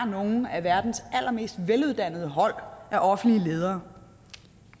nogle af verdens allermest veluddannede hold af offentlige ledere